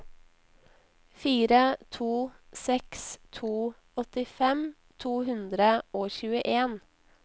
fire to seks to åttifem to hundre og tjueen